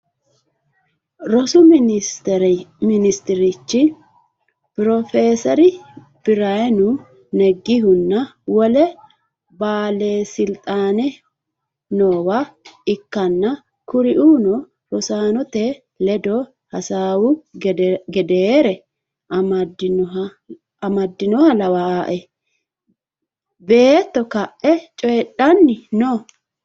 Rossu minnisiterichi proffeserri biraanu neggehuna wole baalesilixaane noowa ikkana kurrino rossannotte leddo hasaawu geddere ammadinoha lawwae beetto ka'e cooyidhani noo